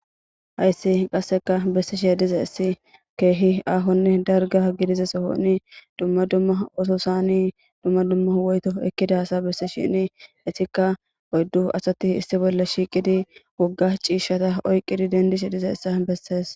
hayssi qasseka bessi she diza issi keehi aahonne darga gidize sohonni dumma dumma oto sani dumma dumma woyto ekkidasa bessi shini etikka oyddu asatti issi bolla shiiqidi wogga ciishshata oyqqidi dendishi diza issa bessees